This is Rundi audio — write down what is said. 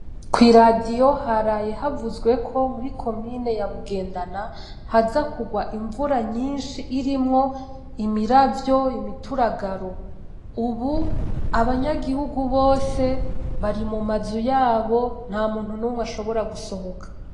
Kwi radio haraye havuzweko muri komine ya Bugendana haza kurwa imvura nyinshi irimwo imiravyo, imituragaro. Ubu, abanyagihungu bose bari mumazu yabo nta muntu numwe ashobora gusohoka.